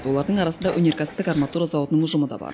олардың арасында өнеркәсіптік арматура зауытының ұжымы да бар